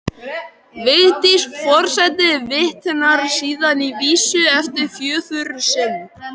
Vigdís forseti vitnar síðan í vísu eftir föður sinn